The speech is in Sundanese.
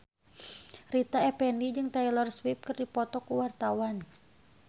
Rita Effendy jeung Taylor Swift keur dipoto ku wartawan